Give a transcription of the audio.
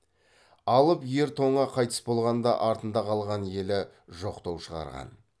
алып ер тоңа қайтыс болғанда артында калған елі жоқтау шығарған